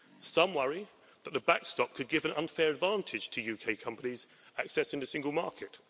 Some worry that the backstop could give an unfair advantage to UK companies accessing the single market.